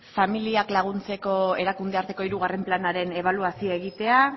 familiak laguntzeko erakundearteko hirugarren planaren ebaluazioa egitea